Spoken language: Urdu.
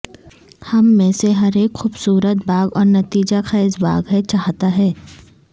ہم میں سے ہر ایک خوبصورت باغ اور نتیجہ خیز باغ ہے چاہتا ہے